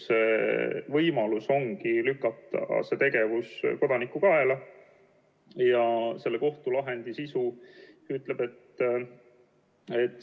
Seetõttu anname tõsise ohu ning teiste võimaluste puudumise korral turujärelevalveasutustele õiguse nõuda veebiliidese, nagu näiteks veebilehe või rakenduse haldajalt infosisu eemaldamist või hoiatuse kuivamist.